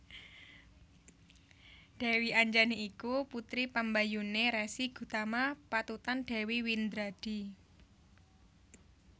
Dèwi Anjani iku putri pambayuné Resi Gutama patutan Dèwi Windradi